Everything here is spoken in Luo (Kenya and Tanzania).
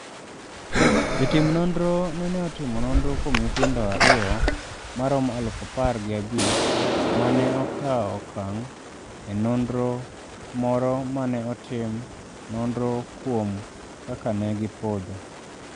Jotim nonro nene otimo nonro kuom nyithindo ariyo ma romo aluf apar gi abich ma ne okawo okang’ e nonro moro ma ne otim nonro kuom kaka ne gipodho.